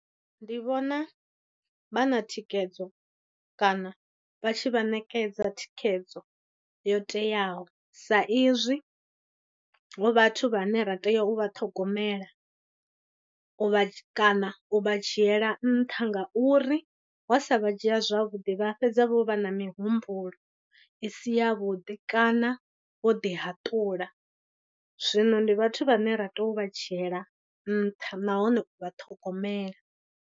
Ndi vhona vha na thikhedzo kana vha tshi vha ṋekedza thikhedzo yo teaho sa izwi hu vhathu vhane ra tea u vha ṱhogomela u vha tshi, kana u vha dzhiela nṱha ngauri wa sa vha dzhia zwavhuḓi vha fhedza vho vha na mihumbulo i si yavhuḓi kana vho ḓi hatula. Zwino ndi vhathu vhane ra tea u vha dzhiela nṱha nahone u vha ṱhogomela.